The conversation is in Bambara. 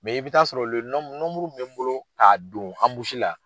i bɛ taa sɔrɔ nɔnburu min bɛ n bolo k'a don anbusi la